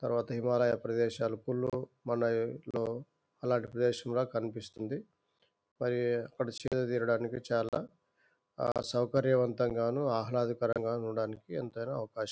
తర్వాత హిమాలయ ప్రదేశాల కును మోన్ అలంటి ప్రదేశం ల కనిపిస్తుంది మరి అక్కడ సేద తీరానికి చాల సౌకర్యవంతం గాను ఆహ్లదకరం గాను ఉండటానికి ఎంతైనా అవకాశం ఉంది .